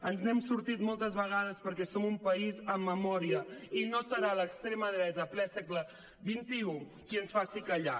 ens n’hem sortit moltes vegades perquè som un país amb memòria i no serà l’extrema dreta en ple segle xxi qui ens faci callar